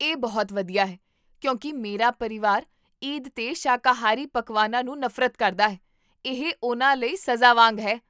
ਇਹ ਬਹੁਤ ਵਧੀਆ ਹੈ ਕਿਉਂਕਿ ਮੇਰਾ ਪਰਿਵਾਰ ਈਦ 'ਤੇ ਸ਼ਾਕਾਹਾਰੀ ਪਕਵਾਨਾਂ ਨੂੰ ਨਫ਼ਰਤ ਕਰਦਾ ਹੈ, ਇਹ ਉਹਨਾਂ ਲਈ ਸਜ਼ਾ ਵਾਂਗ ਹੈ